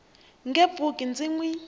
nge pfuki ndzi n wi